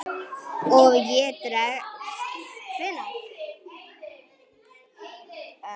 Og ef það dregst. hvenær?